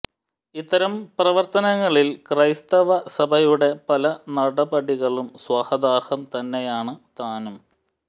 ഇത്തരം പ്രവർത്തനങ്ങളിൽ ക്രൈസ്തവ സഭയുടെ പല നടപടികളും സ്വാഗതാർഹം തന്നെയാണ് താനും